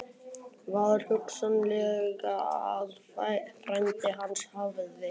Var hugsanlegt að frændi hans hefði